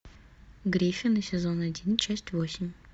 гриффины сезон один часть восемь